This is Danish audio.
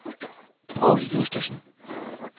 Poul Justesen